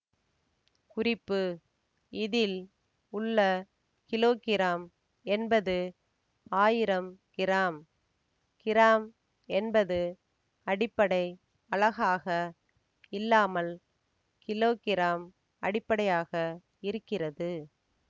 குறிப்பு இதில் உள்ள கிலோகிராம் என்பது ஆயிரம் கிராம் கிராம் என்பது அடிப்படை அலகாக இல்லாமல் கிலோகிராம் அடிப்படையாக இருக்கிறது